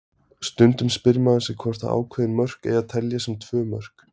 Stundum spyr maður sig hvort að ákveðin mörk eigi að telja sem tvö mörk.